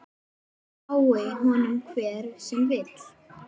Lái honum hver sem vill.